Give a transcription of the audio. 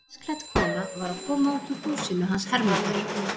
Pelsklædd kona var að koma út úr húsinu hans Hermundar.